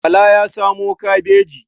Bala ya samo kabaji.